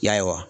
Ya